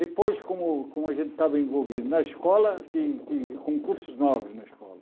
Depois, como como a gente estava envolvido na escola, ti ti com cursos novos na escola,